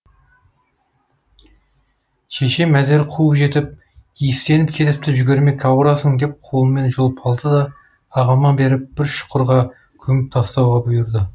шешем әзер қуып жетіп иістеніп кетіпті жүгірмек ауырасың деп қолымнан жұлып алды да ағама беріп бір шұқырға көміп тастауды бұйырды